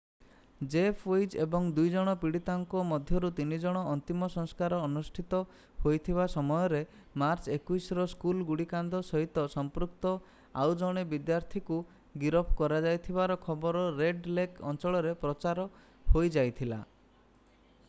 Jeff Weise ଏବଂ 9 ଜଣ ପୀଡିତଙ୍କ ମଧ୍ୟରୁ 3 ଜଣଙ୍କ ଅନ୍ତିମ ସଂସ୍କାର ଅନୁଷ୍ଠିତ ହେଉଥିବା ସମୟରେ ମାର୍ଚ୍ଚ 21ର ସ୍କୁଲ୍ ଗୁଳିକାଣ୍ଡ ସହିତ ସମ୍ପୃକ୍ତ ଆଉଜଣେ ବିଦ୍ଯାର୍ଥୀକୁ ଗିରଫ କରାଯାଇଥିବାର ଖବର ରେଡ ଲେକ୍ ଅଞ୍ଚଳରେ ପ୍ରଚାର ହୋଇଯାଇଥିଲା